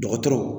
Dɔgɔtɔrɔw